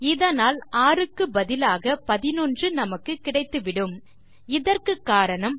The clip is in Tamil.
இதனால் 6க்கு பதிலாக 11 நமக்கு கிடைத்துவிடும் இதற்கு காரணம்